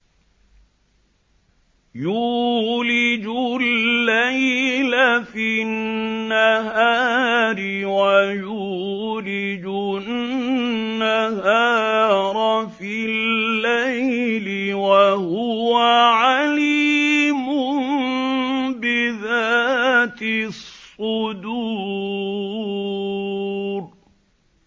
يُولِجُ اللَّيْلَ فِي النَّهَارِ وَيُولِجُ النَّهَارَ فِي اللَّيْلِ ۚ وَهُوَ عَلِيمٌ بِذَاتِ الصُّدُورِ